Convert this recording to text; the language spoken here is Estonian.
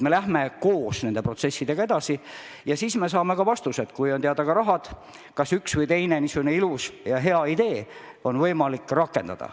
Me läheme koos nende protsessidega edasi ja siis me saame ka vastused, kui on teada summad, kas üks või teine ilus ja hea idee on võimalik rakendada.